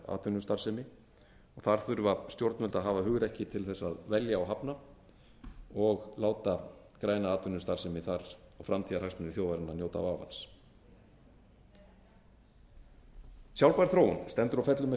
atvinnustarfsemi og þar þurfa stjórnvöld að hafa hugrekki til þess að velja og hafna og láta græna atvinnustarfsemi þar og framtíðarhagsmuni þjóðarinnar njóta vafans sjálfbær þróun stendur og fellur með